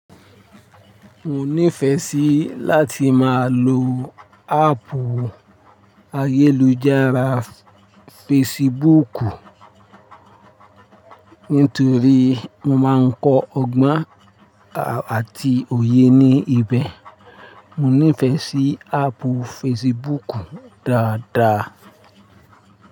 Mo nífẹẹ sí láti máa lo háàpù ayélujára fesibúùkù nítorí mo máa ń kọ́ ọgbọ́n àti òye ní ibẹ̀. Mo nífẹẹ sí háàpù fesibúùkù dáadáa.